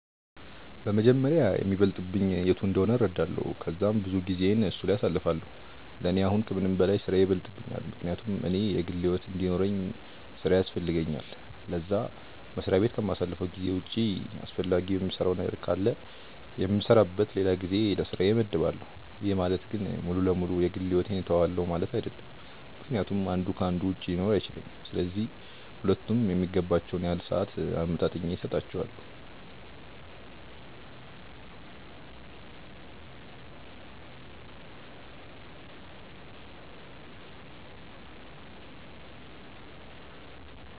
በመጀመሪያ የሚበልጥብኝ የቱ እንደሆነ እረዳለው ከዛም ብዙውን ጊዜየን እሱ ላይ አሳልፋለው፤ ለኔ አሁን ከምንም በላይ ስራዬ ይበልጥብኛል ምክንያቱም እኔ የግል ሕይወት እንዲኖርውኝ ስራዬ ያስፈልገኛል ለዛ፤ መስሪያ በት ከማሳልፈው ጊዜ ውጪ አስፈላጊ የምሰራው ነገር ካለ የምሰራበት ለላ ጊዜ ለስራዬ መድባለው፤ ይህ ማለት ግን ሙሉ ለ ሙሉ የ ግል ሕይወቴን ትውዋለው ማለት አይድለም ምክንያቱም አንዱ ከ አንዱ ውጪ ሊኖር አይችልም፤ ስለዚህ ሁለቱም የሚገባቸውን ያህል ሰአት አመጣጥኜ ሰጣቸዋለው።